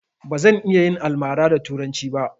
Bazan iya yin almara da turanci ba